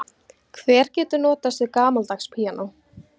Hver getur notast við gamaldags píanó?